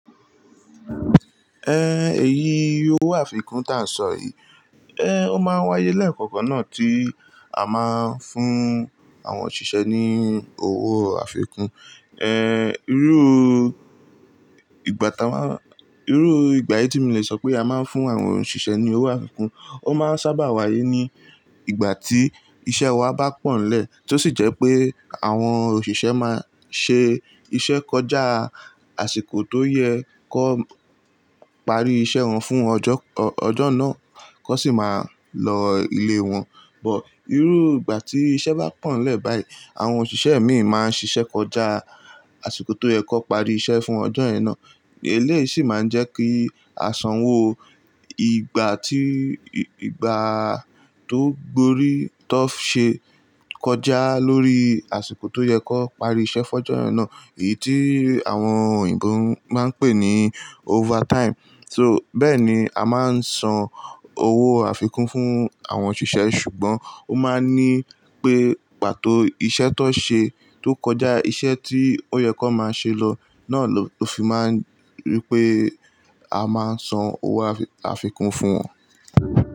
Èyí owó àfikún tí à ń sọ yìí, ó máa ń wáyé lẹ́ẹ̀kọ̀kan náà tí a máa ń fún àwọn òṣìṣẹ́ ní owó àfikún. Irú ìgbà táa máa, irú ìgbà yìí tí mo lè sọ pé a máa ń fún àwọn òṣìṣẹ́ ní owó àfikún, ó máa ń sábà wáyé ní ìgbà tí iṣẹ́ wa bá pọ̀nlẹ̀ tó sì jẹ́ pé àwọn òṣìṣẹ́ máa ṣe iṣẹ́ kọjá àsìkò tó yẹ kó parí iṣẹ́ wọn fún ọjọ́, ọjọ́ náà kó sì máa lọ ilé wọn. But irú ìgbà tí iṣẹ́ bá pọ̀nlẹ̀ báyìí, àwọn òṣìṣẹ́ mìíràn máa ń ṣiṣẹ́ kọjá àsìkò tó yẹ kó parí iṣẹ́ fún ọjọ́ yen na. Eléyìí sì máa ń jẹ́ kí à sanwo ìgbà tí, ìgbà tó gbórí tó ṣe kọjá lórí àsìkò tó yẹ kó parí iṣẹ́ fún ọjọ́ yen na. Èyí tí àwọn òyìnbó máa ń pè ní overtime. So bẹ́ẹ̀ ni a máa ń san owó àfikún fún àwọn òṣìṣẹ́ ṣùgbọ́n ó máa ń ní pé pàtó iṣẹ́ tó ṣe, tó kọjá iṣẹ́ tí ó yẹ kó máa ṣe lọ náà ló fi máa ń rí pé a máa san owó àfikún fún wọn.